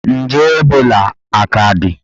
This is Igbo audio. Nje Ebola aka dị?